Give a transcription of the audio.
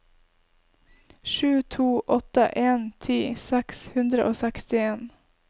sju to åtte en ti seks hundre og sekstien